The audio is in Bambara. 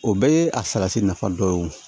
O bɛɛ ye a salati nafa dɔ ye o